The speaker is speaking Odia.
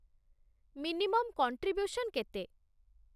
ମିନିମମ୍ କଣ୍ଟ୍ରିବ୍ୟୁସନ୍ କେତେ?